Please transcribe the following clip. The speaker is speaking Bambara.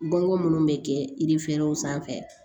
Bon ko minnu bɛ kɛ yiri ferenw sanfɛ